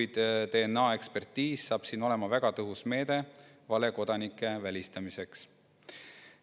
DNA‑ekspertiis saab siin olema väga tõhus meede valekodanike välistamiseks.